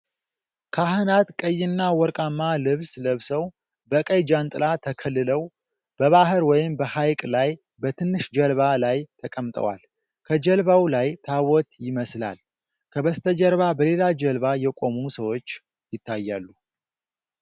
ካህናት ቀይና ወርቃማ ልብስ ለብሰው፣ በቀይ ጃንጥላ ተከልለው፣ በባህር ወይም በሐይቅ ላይ በትንሽ ጀልባ ላይ ተቀምጠዋል። ከጀልባው ላይ ታቦት ይመስላል። ከበስተጀርባ በሌላ ጀልባ የቆሙ ሰዎች ይታያሉ።